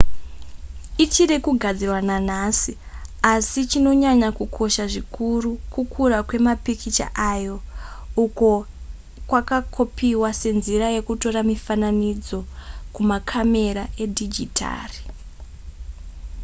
ichiri kugadzirwa nanhasi asi chinonyanya kukosha zvikuru kukura kwemapikicha ayo uko kwakakopiwa senzira yekutora mifananidzo kumakamera edhijitari